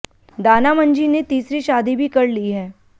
दाना मंझी ने तीसरी शादी भी कर ली है